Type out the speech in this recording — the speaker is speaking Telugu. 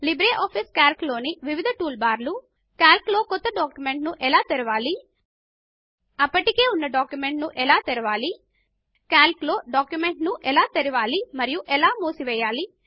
లిబ్రేఆఫీస్ కాల్క్ లోని వివిధ టూల్ బార్ లు కాల్క్ లో ఒక క్రొత్త డాక్యుమెంట్ ను ఎలా తెరవాలి అప్పటికే ఉన్న డాక్యుమెంట్ ను ఎలా తెరవాలి కాల్క్ లో ఒక డాక్యుమెంట్ ను ఎలా తెరవాలి మరియు ఎలా మూసివేయాలి